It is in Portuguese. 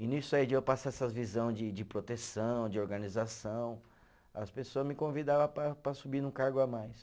E nisso aí de eu passar essas visão de de proteção, de organização, as pessoa me convidava para para subir num cargo a mais.